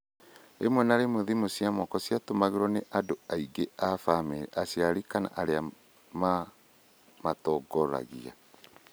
Rĩmwe na rĩmwe, thimũ cia moko ciatũmagĩrũo na andũ angĩ a famĩlĩ, aciari, kana arĩa maamatongoragia.